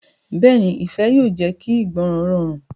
Bẹ́ẹ̀ni, ifẹ yóò jẹ ki ìgbọràn rọrun.